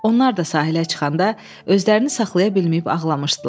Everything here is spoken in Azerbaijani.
Onlar da sahilə çıxanda özlərini saxlaya bilməyib ağlamışdılar.